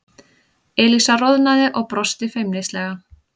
Elísa roðnaði og brosti feimnislega.